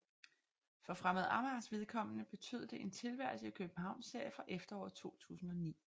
For Fremad Amagers vedkommende betød det en tilværelse i Københavnsserien fra efteråret 2009